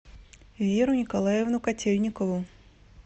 веру николаевну котельникову